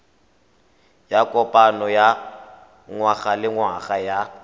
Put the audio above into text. ya kopano ya ngwagalengwaga ya